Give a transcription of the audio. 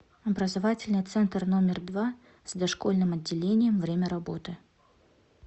образовательный центр номер два с дошкольным отделением время работы